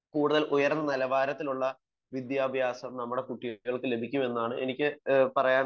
കൂടുതൽ ഉയർന്ന നിലവാരത്തിലുള്ള വിദ്യാഭ്യാസം നമ്മുടെ കുട്ടികൾക്ക് ലഭിക്കുമെന്നാണ് എനിക്ക് പറയാനുള്ളത്